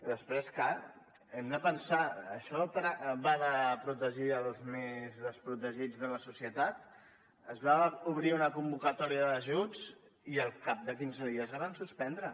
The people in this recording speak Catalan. després clar hem de pensar això però va de protegir els més desprotegits de la societat es va obrir una convocatòria d’ajuts i al cap de quinze dies la van suspendre